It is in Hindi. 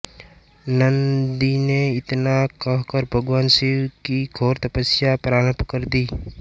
नन्दी ने इतना कहकर भगवान शिव की घोर तपस्या प्रारम्भ कर दी